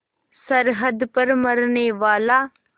सरहद पर मरनेवाला